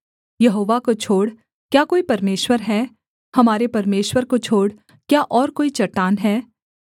यहोवा को छोड़ क्या कोई परमेश्वर है हमारे परमेश्वर को छोड़ क्या और कोई चट्टान है